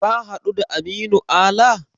Ka haɗu da Aminu Ala?